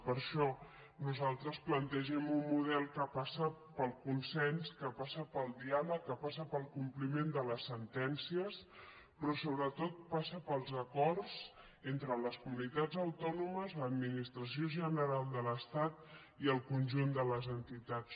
per això nosaltres plantegem un model que passa pel consens que passa pel diàleg que passa pel compli·ment de les sentències però sobretot passa pels acords entre les comunitats autònomes l’administració gene·ral de l’estat i el conjunt de les entitats